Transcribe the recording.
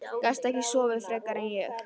Gastu ekki sofið frekar en ég?